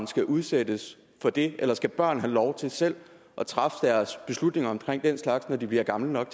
skal udsættes for det eller skal børn have lov til selv at træffe deres beslutninger om den slags når de bliver gamle nok